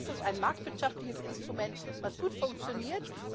ETS ist ein marktwirtschaftliches Instrument, das gut funktioniert.